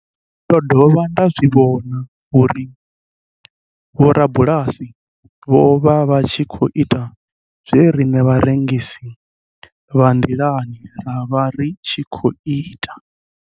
Ndo dovha nda zwi vhona uri vhorabulasi vho vha vha tshi khou ita zwe riṋe vharengisi vha nḓilani ra vha ri tshi khou ita.